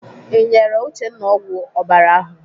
Ị nyere Uchenna ọgwụ ọbara ahụ?